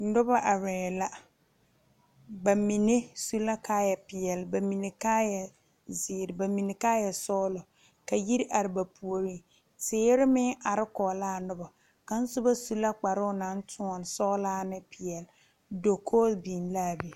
Nobɔ arɛɛ la ba mine su la kaayɛ peɛle ba mine kaayɛ zeere ba mine kaayɛ sɔglɔ ka yiri are ba puoriŋ teere meŋ are kɔge laa nobɔ kaŋsobɔ su la kparoo naŋ tóɔne sɔglaa ne peɛle dokoge biŋ laa be.